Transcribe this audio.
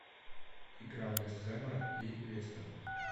игра вест хэма и лестера